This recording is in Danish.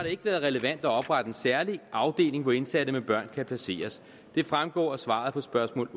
ikke været relevant at oprette en særlig afdeling hvor indsatte med børn kan placeres det fremgår af svaret på spørgsmål